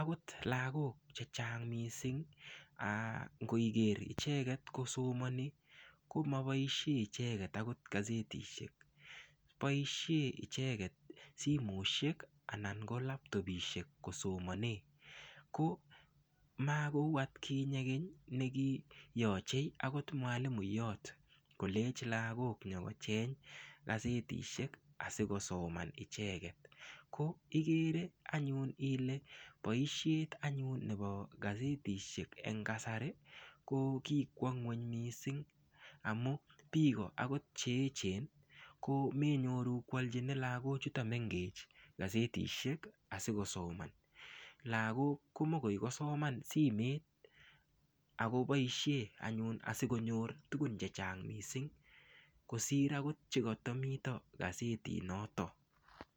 akot lakok chechang mising ak ngiger icheket kosomoni komoboishe akot icheget gazetishek boishet icheget simoshek anan ko laptopishek kosomone makou atkinye keny nekiyochei akot mwalimuyot kolech lakok nyokocheny gazetishek asikosoman icheget ko igere anyun ile boishet anyun nebo gazetishek eng kasari ko kikwo ng'weny mising amu biko akot che echen ko menyoru koalchini lakochuto mengech gazetishek asikosoman lakok ko mokoi koasoman simet akoboishe anyun asikonyor tukun che chang mising kosir akot chekatamito gazetit noton.